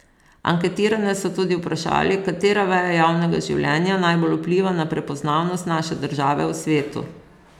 Anketirane so tudi vprašali, katera veja javnega življenja najbolj vpliva na prepoznavnost naše države v svetu.